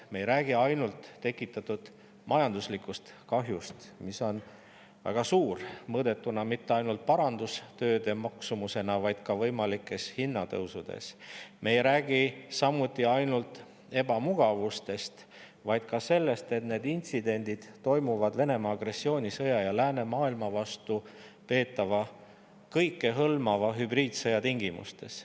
Me ei räägi ainult tekitatud majanduslikust kahjust, mis on väga suur, mõõdetuna mitte ainult parandustööde maksumusena, arvestades ka võimalikke hinnatõuse, samuti ei räägi me ainult ebamugavusest, vaid ka sellest, et need intsidendid toimuvad Venemaa agressioonisõja ja läänemaailma vastu peetava kõikehõlmava hübriidsõja tingimustes.